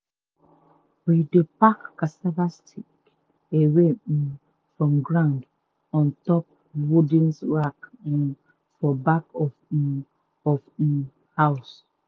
we dey pack cassava stick away um from ground on top wooden rack um for back of um of um house.